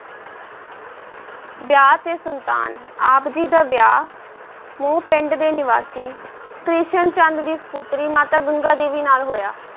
ਵਿਆਹ ਤੇ ਸੰਤਾਨ, ਆਪ ਜੀ ਦਾ ਵਿਆਹ ਮਓ ਪਿੰਡ ਦੇ ਨਿਵਾਸੀ ਕ੍ਰਿਸ਼ਨ ਚੰਦ ਦੀ ਸਪੁੱਤਰੀ ਮਾਤਾ ਗੰਗਾ ਦੇਵੀ ਨਾਲ ਹੋਇਆ।